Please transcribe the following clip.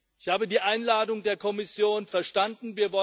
Ich habe die Einladung der Kommission verstanden.